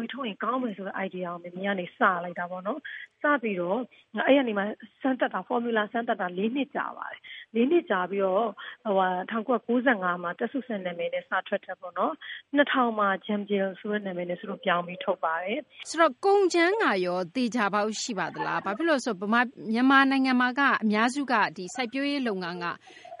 ရည်ထုတ်ရင် ကောင်းမယ်ဆိုတဲ့ စိတ်ကူးကို မေမေကနေ စလိုက်တာပေါ့နော်။ အဲဒီကနေ ဖော်မြူလာ စမ်းသပ်တာ ၄ နှစ် ကြာပါတယ်။ ၄ နှစ် ကြာပြီးတော့ ၁၉၉၅ မှာ သက်စုစံ နာမည်နဲ့ စထွက်တာ ပေါ့နော်။ ၂၀၀၀ မှာ Jumjel ဆိုတဲ့ နာမည်နဲ့ စုတို့ ပြောင်းပြီး ထုတ်ပါတယ်။ ဆိုတော့ ကုန်ကြမ်းကရော သေချာပေါက် ရှိပါသလား။ ဘာဖြစ်လို့လဲ ဆိုတော့ မြန်မာနိုင်ငံမှာက အများစုက စိုက်ပျိုးရေး လုပ်ငန်းက